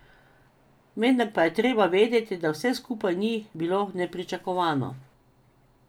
Vendar pa je treba vedeti, da vse skupaj ni bilo nepričakovano.